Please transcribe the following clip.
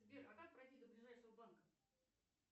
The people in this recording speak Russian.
сбер а как пройти до ближайшего банка